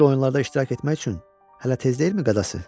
Bu cür oyunlarda iştirak etmək üçün hələ tez deyilmi qadası?